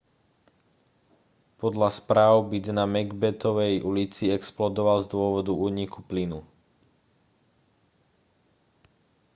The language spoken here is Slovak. podľa správ byt na macbethovej ulici explodoval z dôvodu úniku plynu